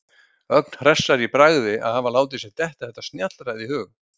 Ögn hressari í bragði að hafa látið sér detta þetta snjallræði í hug.